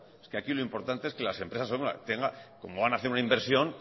es que aquí lo importante es que las empresas como van a hacer una inversión